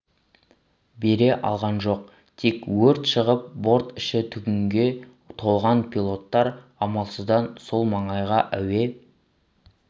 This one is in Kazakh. бере алған жоқ тек өрт шығып борт іші түтінге толған пилоттар амалсыздан сол маңайға әуе